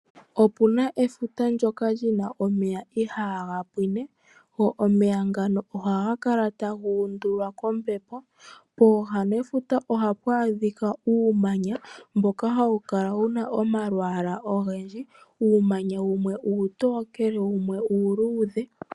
Okuna efuta ndyoka lina omeya ihaga pwinine. Omeya ngano ohaga kala taga undulwa kombepo. Pooha nefuta ohapu adhika uumanya mboka hawu kala wuna omalwaala ogendji. Uumanya wumwe uutokele wumwe uuludhe.